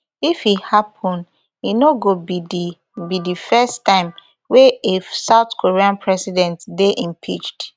if e happen e no go be di be di first time wey a south korean president dey impeached